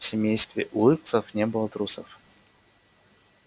в семействе уилксов не было трусов